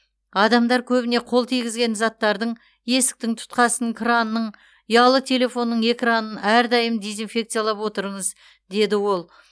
адамдар көбіне қол тигізетін заттардың есіктің тұтқасын крандың ұялы телефонның экранын әрдайым дезинфекциялап отырыңыз деді ол